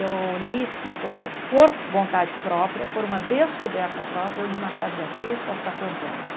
Eu li uma coisa por vontade própria, por uma descoberta própria, eu li Machado de Assis aos catorze anos.